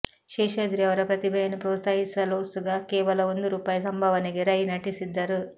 ಶೇಷಾದ್ರಿ ಅವರ ಪ್ರತಿಭೆಯನ್ನು ಪ್ರೋತ್ಸಾಹಿಸಲೋಸುಗ ಕೇವಲ ಒಂದು ರುಪಾಯಿ ಸಂಭಾವನೆಗೆ ರೈ ನಟಿಸಿದ್ದರು